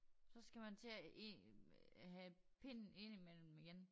Så skal man til at ind øh have pinden ind i mellem igen